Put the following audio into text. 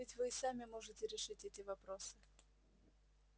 ведь вы и сами можете решить эти вопросы